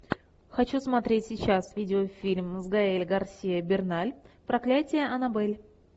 хочу смотреть сейчас видеофильм с гаэль гарсиа берналь проклятие аннабель